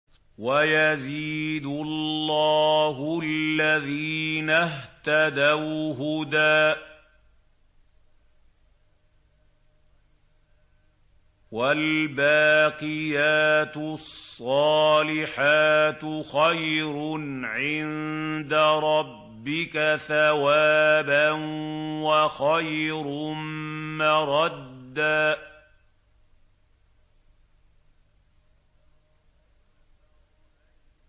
وَيَزِيدُ اللَّهُ الَّذِينَ اهْتَدَوْا هُدًى ۗ وَالْبَاقِيَاتُ الصَّالِحَاتُ خَيْرٌ عِندَ رَبِّكَ ثَوَابًا وَخَيْرٌ مَّرَدًّا